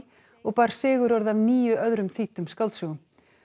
og bar sigurorð af níu öðrum þýddum skáldsögum